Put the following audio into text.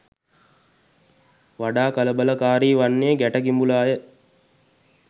වඩා කලබලකාරී වන්නේ ගැට කිඹුලාය.